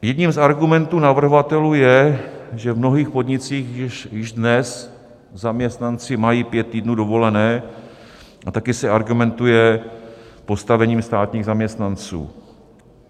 Jedním z argumentů navrhovatelů je, že v mnohých podnicích již dnes zaměstnanci mají pět týdnů dovolené, a také se argumentuje postavením státních zaměstnanců.